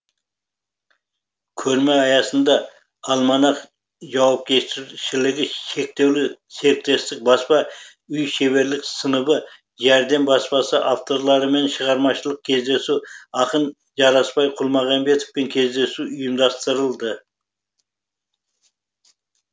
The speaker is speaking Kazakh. көрме аясында альманах жауапкершілігі шектеулі серіктестігі баспа үйі шеберлік сыныбы жәрдем баспасы авторларымен шығармашылық кездесу ақын жарасбай құлмағамбетовпен кездесу ұйымдастырылды